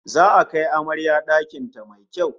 Za'a kai amarya dakin ta mai kyau